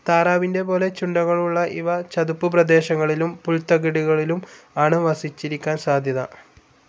താറാവിന്റെ പോലെ ചുണ്ടുകൾ ഉള്ള ഇവ ചതുപ്പു പ്രദേശങ്ങളിലും പുൽത്തകിടികളിലും ആണ് വസിച്ചിരിക്കാൻ സാധ്യത.